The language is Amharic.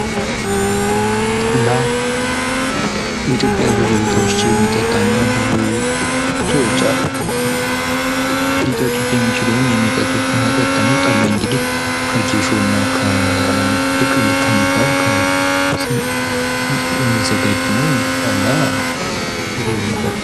ጠላ በኢትዮጵያ ብዙ ቦታዎች የሚጠጣ እና ብዙ ሰዎች ሊጠጡት የሚችሉት ወይም የሚጠጡት መጠጥ ነው። ጠላ እንግዲህ ከጌሾ እና ከብቅል ከሚባል የሚዘጋጅ ነው እንግዲህ ጠላ ጥሩ መጠጥ ነው።